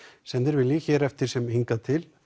sem þeir vilji hér eftir sem hingað til